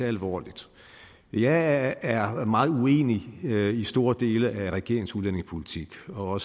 alvorligt jeg er meget uenig i store dele af regeringens udlændingepolitik og